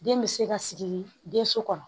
Den bɛ se ka sigi den so kɔnɔ